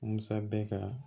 Musa bɛ ka